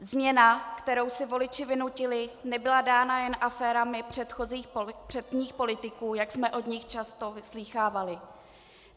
Změna, kterou si voliči vynutili, nebyla dána jen aférami předních politiků, jak jsme od nich často slýchávali.